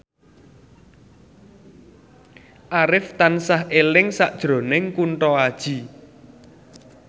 Arif tansah eling sakjroning Kunto Aji